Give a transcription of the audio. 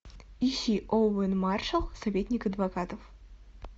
ищи оуэн маршалл советник адвокатов